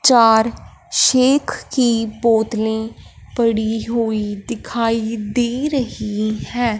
चार शेक की बोतले पड़ी हुई दिखाई दे रही है।